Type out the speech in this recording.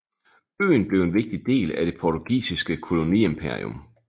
Øen blev en vigtig del af det portugisiske koloniimperium